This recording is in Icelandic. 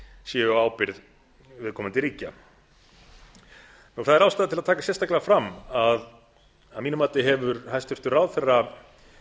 séu á ábyrgð viðkomandi ríkja það er ástæða til að taka sérstaklega fram að að mínu mati hefur hæstvirtur ráðherra